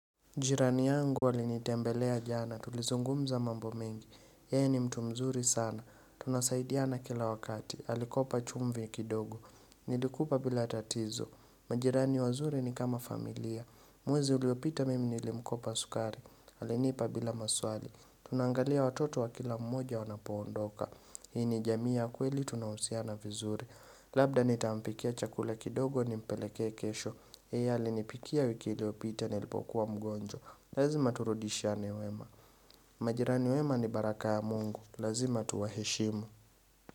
Jirani yangu ali nitembelea jana, tulizungumza mambo mengi, yeye ni mtu mzuri sana, tunasaidiana kila wakati, alikopa chumvi kidogo, nilikupa bila tatizo, majirani wazuri ni kama familia, mwezi uliopita mimi nilimkopa sukari, alinipa bila maswali, tunaangalia watoto wa kila mmoja wanapoondoka, hii ni jamii ya kweli tunahusiana vizuri, labda nitampikia chakula kidogo ni mpelekee kesho, Yeye alinipikia wiki iliopita nilipokuwa mgonjo Lazima turudishiane wema. Majirani wema ni baraka ya Mungu. Lazima tuwa heshimu.